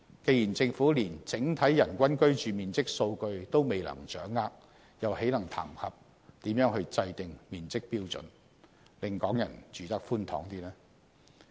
既然政府連整體人均居住面積數據都未能掌握，還談甚麼制訂面積標準，令港人住得更寬敞？